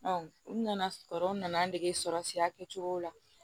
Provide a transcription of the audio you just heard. u nana sɔrɔ u nana n dege sɔrɔ sira kɛcogow la